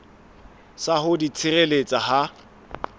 sa ho di tshireletsa ha